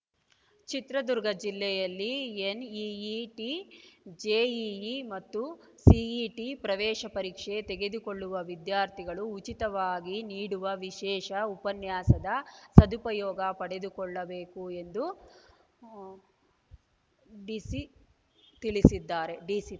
ಚಿತ್ರದುರ್ಗ ಜಿಲ್ಲೆಯಲ್ಲಿ NEET JEE ಮತ್ತು CET ಪ್ರವೇಶ ಪರೀಕ್ಷೆ ತೆಗೆದುಕೊಳ್ಳುವ ವಿದ್ಯಾರ್ಥಿಗಳು ಉಚಿತವಾಗಿ ನೀಡುವ ವಿಶೇಷ ಉಪನ್ಯಾಸದ ಸದುಪಯೋಗ ಪಡೆದುಕೊಳ್ಳಬೇಕು ಎಂದು ಉ ಡಿಸಿ ತಿಳಿಸಿದ್ದಾರೆ ಡಿಸಿ